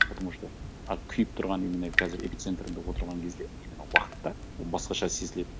потому что ы күйіп тұрған именно қазір эпицентрында отырған кезде именно уақытта басқаша сезіледі